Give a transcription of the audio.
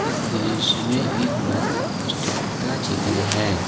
इस दृश्य में एक बस स्टैंड का चित्र है।